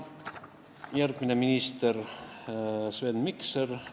Järgmine minister oli Sven Mikser.